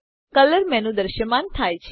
colour menu દ્રશ્યમાન થાય છે